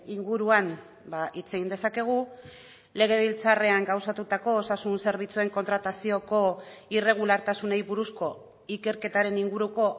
inguruan hitz egin dezakegu legebiltzarrean gauzatutako osasun zerbitzuen kontratazioko irregulartasunei buruzko ikerketaren inguruko